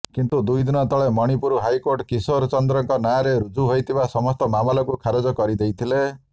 କିନ୍ତୁ ଦୁଇ ଦିନ ତଳେ ମଣିପୁର ହାଇକୋର୍ଟ କିଶୋରଚନ୍ଦ୍ରଙ୍କ ନାଁରେ ରୁଜୁ ହୋଇଥିବା ସମସ୍ତ ମାମଲାକୁ ଖାରଜ କରିଦେଥିଲେ